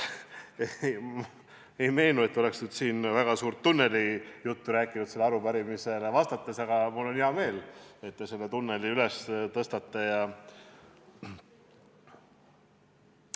Mulle ei meenu, et oleksin sellele arupärimisele vastates väga pikka tunnelijuttu rääkinud, aga mul on hea meel, et te selle teema tõstatasite.